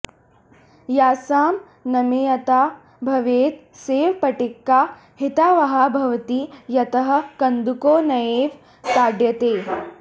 यस्यां नमनीयता भवेत् सैव पट्टिका हितावहा भवति यतः कन्दुकोऽनयैव ताड्यते